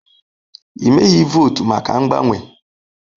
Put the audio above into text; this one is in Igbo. Ị meghị votu maka mgbanwe.